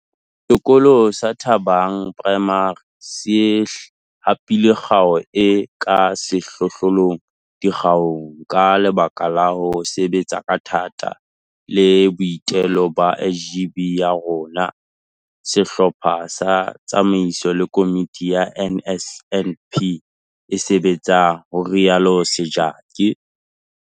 Sekolo sa Thabang Primary se hapile kgao e ka sehlohlolong dikgaong ka lebaka la ho sebetsa ka thata le boitelo ba SGB ya sona, sehlopha sa tsamaiso le komiti ya NSNP e sebetsang, ho rialo Sejake.